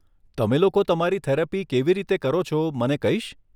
તમે લોકો તમારી થેરપી કેવી રીતે કરો છો મને કહીશ?